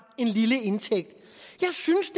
en lille indtægt jeg synes